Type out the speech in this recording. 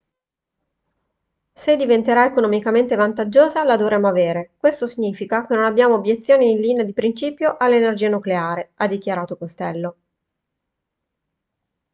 se diventerà economicamente vantaggiosa la dovremmo avere questo significa che non abbiamo obiezioni in linea di principio all'energia nucleare ha dichiarato costello